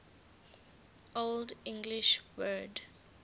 old english word